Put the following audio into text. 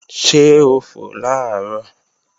Ṣé ó fò làárọ̀?